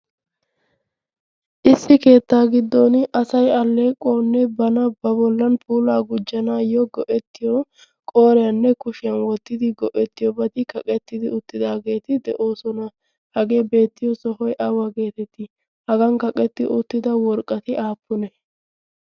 Issi keettaa giddon asay alleequwawunne bana ba bollaa puulaa gujjanaayyo go'ettiyoo qooriyanne kushiyan wottidi go'ettiyobati kaqetti uttidaageeti de'oosona. Hageeti beettiyo sohoy awa geetettii? Hagan kaqetti uttida worqqati aappunee?